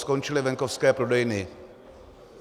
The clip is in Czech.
Skončily venkovské prodejny.